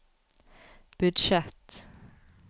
budsjett